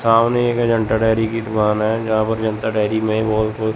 सामने एक जनता डेरी की दुकान है जहां पर जनता डेरी में बहुत कुछ--